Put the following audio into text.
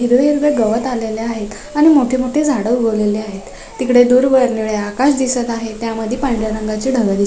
हिरवे हिरवे गवत आलेलं आहेत. आणि मोठे मोठे झाडे उगवलेले आहेत तिकड दुरर्वन निळ आकाश दिसत आहे त्यावर पांढरा रंगाचं आकाश दिसत --